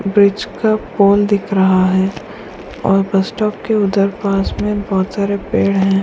Bridge का pole दिख रहा है और बस स्टॉप के उधर पास में बहुत सारे पेड़ हैं।